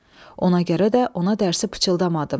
Ona görə də ona dərsi pıçıldamadım.